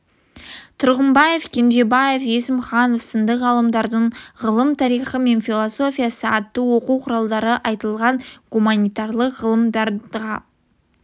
тұрғынбаев кенжебаев есімханов сынды ғалымдардың ғылым тарихы мен филосфиясы атты оқу құралында айтылған гуманитарлық ғылымдарға